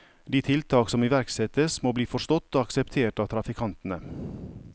De tiltak som iverksettes, må bli forstått og akseptert av trafikantene.